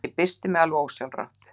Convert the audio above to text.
Ég byrsti mig alveg ósjálfrátt.